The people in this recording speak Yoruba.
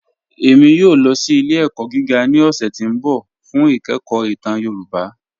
Ẹ̀mí yòò lọ sí ilẹ̀-ẹ̀kọ̀ gígà ní ọ̀ṣẹ̀ tí n bọ̀ fún ìkẹ̀kọ̀ ìtàn Yorùbá.